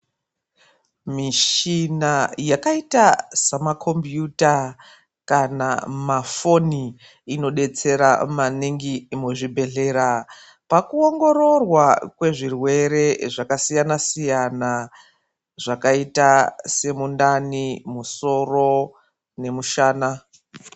Michina yakaita semakhombiyuta kana mafoni inodetsera maningi muzvibhedhlera pakuongororwa kwezvirwere zvakasiyana-siyana zvakaita semundani, musoro nemusoro.